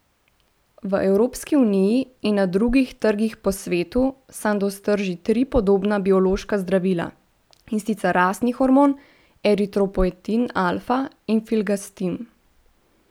V Evropski uniji in na drugih trgih po svetu Sandoz trži tri podobna biološka zdravila, in sicer rastni hormon, eritropoetin alfa in filgrastim.